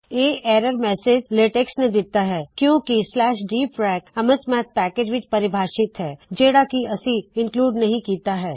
ਇਹ error message LaTeX ਨੇ ਦਿੱਤਾ ਹੈ ਕਿਉ ਕੀ dfrac ਐਮਸਮੈਥ ਪੈਕੇਜ ਵਿੱਚ ਪਰਿਭਾਸ਼ਿਤ ਹੈ ਜਿਹੜਾ ਕਿ ਅਸੀ ਦਰਜ ਨਹੀ ਕੀੱਤਾ ਹੈ